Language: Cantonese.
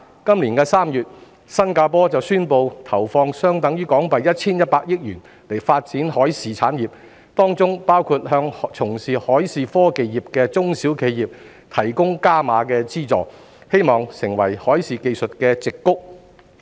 今年3月，新加坡便宣布投放相等於約 1,100 億港元發展海事產業，當中包括向從事海事科技業務的中小企業提供"加碼"資助，希望成為海事技術的"矽谷"。